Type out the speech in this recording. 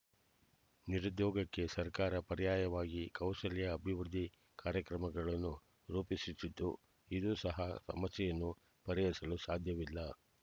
ನಿರುದ್ಯೋಗಕ್ಕೆ ಸರ್ಕಾರ ಪರ್ಯಯವಾಗಿ ಕೌಶಲ್ಯ ಅಭಿವೃದ್ಧಿ ಕಾರ್ಯಕ್ರಮಗಳನ್ನು ರೂಪಿಸುತ್ತಿದ್ದು ಇದು ಸಹ ಸಮಸ್ಯೆಯನ್ನು ಪರಿಹರಿಸಲೂ ಸಾಧ್ಯವಿಲ್ಲ